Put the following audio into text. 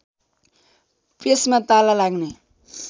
प्रेसमा ताला लाग्ने